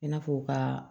I n'a fɔ ka